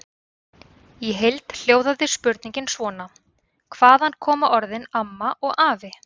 Í heild hljóðaði spurningin svona: Hvaðan koma orðin AMMA og AFI?